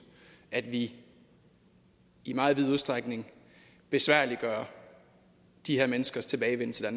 at vi i meget vid udstrækning besværliggør de her menneskers tilbagevenden til